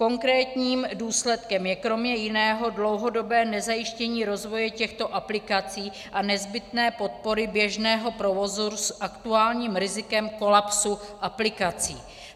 Konkrétním důsledkem je kromě jiného dlouhodobé nezajištění rozvoje těchto aplikací a nezbytné podpory běžného provozu s aktuálním rizikem kolapsu aplikací.